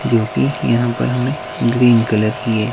जो कि यहां पर हमें ग्रीन कलर की है।